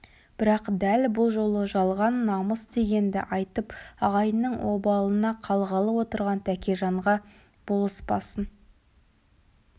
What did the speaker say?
бірақ дәл бұл жолы жалған намыс дегенді айтып ағайынның обалына қалғалы отырған тәкежанға болыспасын